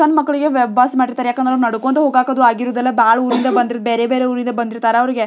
ಸಣ್ಣ ಮಕ್ಕಳಿಗೆ ಬಸ್ ಮಾಡ್ತಾರೆ ಯಾಕೆಂದ್ರೆ ನಡುಕೊಂತ ಹೋಗಕ್ಕೆ ಆಗಿರುದಿಲ ಬಹಳ ದೂರ ಬೇರೆ ಬೇರೆ ಊರಿಂದ ಬಂದಿರುತ್ತಾರೆ .